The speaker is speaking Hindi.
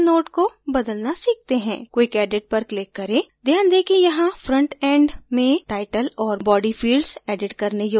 quick edit पर click करें ध्यान दें कि यहाँ front end में title और body fields edit करने योग्य हैं